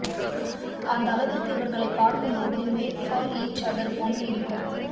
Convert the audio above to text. அந்த அளவிற்கு இவர்களை பார்க்கும் போது மேட் பார் ஈச் அதர் போன்று இருக்கும்